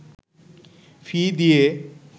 ফি দিয়ে